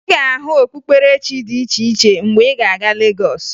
Ị ga-ahụ okpukperechi dị iche iche mgbe ị ga-aga Legọs